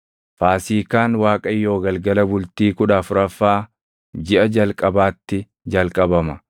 Faasiikaan Waaqayyoo galgala bultii kudha afuraffaa jiʼa jalqabaatti jalqabama.